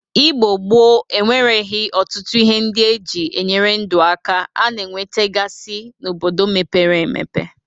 Igbo gboo enwereghi ọtụtụ ihe ndị e ji enyere ndụ aka a na-enwetagasị n'obodo mepere empe.